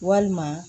Walima